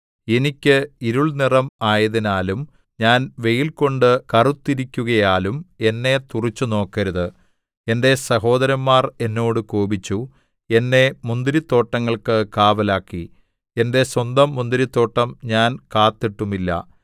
എനിക്ക് ഇരുൾനിറം ആയതിനാലും ഞാൻ വെയിൽകൊണ്ട് കറുത്തിരിക്കുകയാലും എന്നെ തുറിച്ചുനോക്കരുത് എന്റെ സഹോദരന്‍മാര്‍ എന്നോട് കോപിച്ചു എന്നെ മുന്തിരിത്തോട്ടങ്ങൾക്ക് കാവലാക്കി എന്റെ സ്വന്തം മുന്തിരിത്തോട്ടം ഞാൻ കാത്തിട്ടുമില്ല